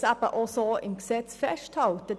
Dies wollen wir auch so im Gesetz festhalten.